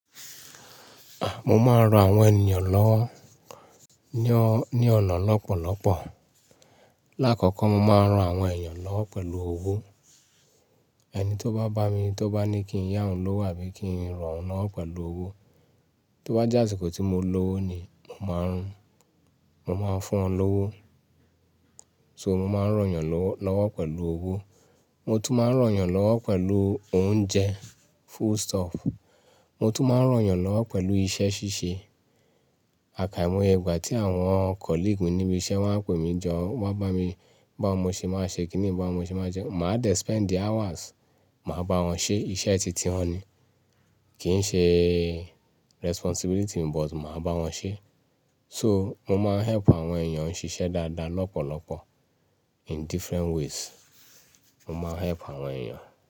A! Mo máa ń ran àwọn ènìyàn lọ́na ọ ní ọ̀nà lọ́pọ̀lọ́pọ̀. Láàkọ́kọ́, mo máa ń ran àwọn èèyàn lọ́wo pẹ̀lú owó. Ẹni tí ó bá bá mi tó bá ní kí n yá òun lówó àbí kí n rán òun lọ́ pẹ̀lú owó, tó bá jásikó tí mo lọ́wó ni, mo máa ń, mo máa ń fún wọ́n lówó. So mo máa ń rán èèyàn lọ́ lọ́wọ́ pẹ̀lú owó. Mo tún máa ń rán èèyàn lọ́wọ́ pẹ̀lú oúnjẹ. Full stop. Mo tún máa ń rán èèyàn lọ́wọ́ pẹ̀lú iṣẹ́ ṣíṣe. Àkàìmọye ìgbà tí àwọn ore mi níbi iṣẹ́ wọ́n á pè mí jọ, wọ́n á bá mi, bá wọn mo ṣe máa ṣe, kíni bá wọn mo ṣe máa jẹ, máa dẹ̀ lo wakati, màá bá wọn ṣe iṣẹ́ titi wọn ní. Kì í ṣe ojuse mi sugbon màá bá wọn ṣe. So mo máa ń help àwọn èèyàn ṣiṣẹ́ dáadáa lọ́pọ̀lọ́pọ̀ in different ways. Mo máa ń help àwọn èèyàn.